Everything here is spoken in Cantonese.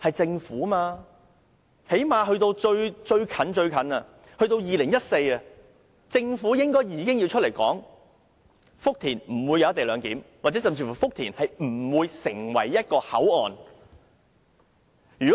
政府最低限度應在2014年告訴大家福田不會設立"一地兩檢"，或福田不會發展成為一個口岸。